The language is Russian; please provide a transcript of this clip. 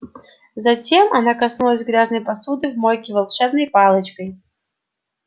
затем она коснулась грязной посуды в мойке волшебной палочкой